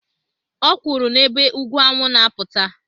Ọ kwuru n'ebe ugwu anwụ na-apụta